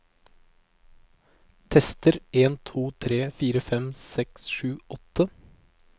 Tester en to tre fire fem seks sju åtte